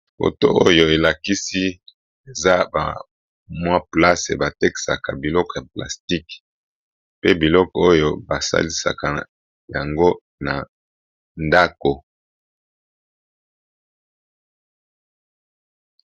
Foto oyo elakisi eza bamwa place ebatekisaka biloko ya plastique pe biloko oyo basalisaka yango na ndako.